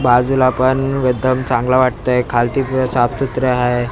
बाजूला पण एकदम चांगला वाटतंय खालती पण साफसूत्र आहे.